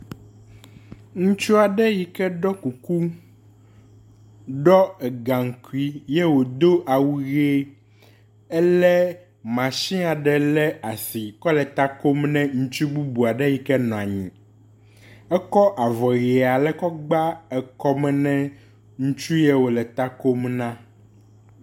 Ŋutsu aɖe yike ɖɔ kuku, ɖɔ egaŋkui ye wòdo awu ʋe, elé matsin aɖe le asi kɔ le ta kom ne ŋutsu bubu aɖe yike nɔ anyi. Ekɔ avɔ ʋe ale gba ekɔme na ŋutsu ye wòle ta kom na.